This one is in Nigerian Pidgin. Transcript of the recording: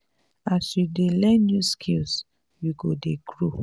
as you dey learn new skills you go dey grow.